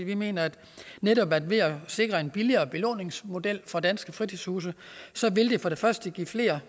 vi mener at netop ved at sikre en billigere belåningsmodel for danske fritidshuse vil det for det første give flere